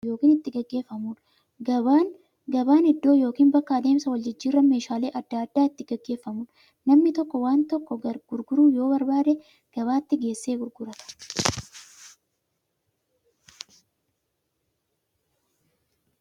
Gabaan iddoo bittaaf gurgurtaan itti raawwatu yookiin itti gaggeeffamuudha. Gabaan iddoo yookiin bakka adeemsa waljijjiiraan meeshaalee adda addaa itti gaggeeffamuudha. Namni tokko waan tokko gurguruu yoo barbaade, gabaatti geessee gurgurata.